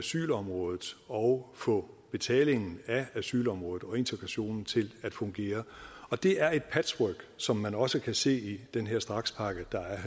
asylområdet og få betalingen af asylområdet og integrationen til at fungere det er et patchwork som man også kan se i den her strakspakke der er